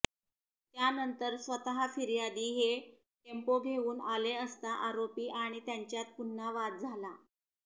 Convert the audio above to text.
त्यानंतर स्वतः फिर्यादी हे टेम्पो घेऊन आले असता आरोपी आणि त्यांच्यात पुन्हा वाद झाला